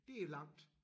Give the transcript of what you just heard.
Det er langt